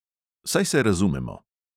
Saj se razumemo?